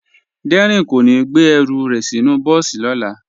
Dẹrín kò ní gbé ẹrù rẹ̀ sínú bọ́ọ̀sì lọ́la